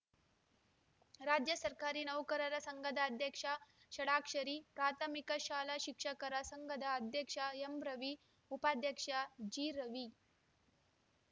ರಾಜ್ಯ ಸರ್ಕಾರಿ ನೌಕರರ ಸಂಘದ ಅಧ್ಯಕ್ಷ ಷಡಾಕ್ಷರಿ ಪ್ರಾಥಮಿಕ ಶಾಲಾ ಶಿಕ್ಷಕರ ಸಂಘದ ಅಧ್ಯಕ್ಷ ಎಂರವಿ ಉಪಾಧ್ಯಕ್ಷ ಜಿರವಿ